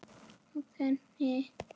Á teini.